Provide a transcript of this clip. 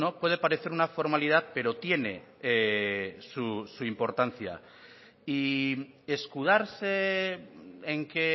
puede parecer una formalidad pero tiene su importancia y escudarse en que